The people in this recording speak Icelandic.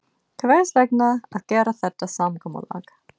Hvers vegna að gera þetta samkomulag?